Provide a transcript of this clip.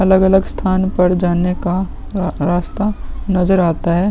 अलग-अलग स्थान पर जाने का र रास्ता नजर आता है।